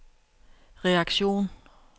reaktion